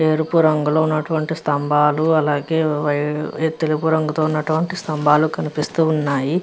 ఎరుపు రంగులో ఉన్నటువంటి స్తంభాలు అలాగే వై తెలుపు రంగులో ఉన్నటువంటి స్తంభాలు కనిపిస్తూ ఉన్నాయి.